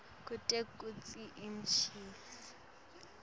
kute kutsi umcashi